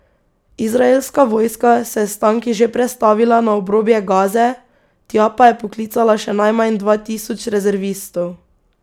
Izraelska vojska se je s tanki že prestavila na obrobje Gaze, tja pa je poklicala še najmanj dva tisoč rezervistov.